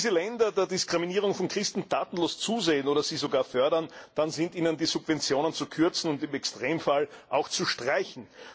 Wenn diese Länder der Diskriminierung von Christen tatenlos zusehen oder sie sogar fördern, dann sind ihnen die Subventionen zu kürzen und im Extremfall auch zu streichen!